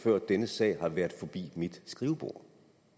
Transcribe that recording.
før denne sag har været forbi mit skrivebord